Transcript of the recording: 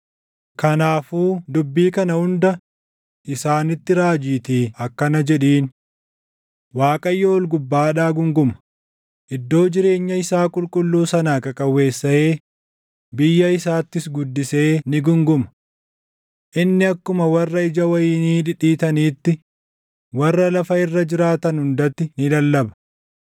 “Kanaafuu dubbii kana hunda isaanitti raajiitii akkana jedhiin: “‘ Waaqayyo ol gubbaadhaa guunguma; iddoo jireenya isaa qulqulluu sanaa qaqawweessaʼee biyya isaattis guddisee ni guunguma. Inni akkuma warra ija wayinii dhidhiitaniitti warra lafa irra jiraatan hundatti ni lallaba.